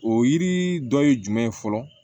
O yiri dɔ ye jumɛn ye fɔlɔ